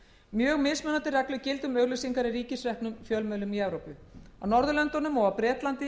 mjög mismunandi reglur gilda um auglýsingar í ríkisreknum fjölmiðlum í evrópu á hinum norðurlöndunum og á bretlandi